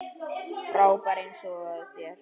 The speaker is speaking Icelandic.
Frábær eins og þér.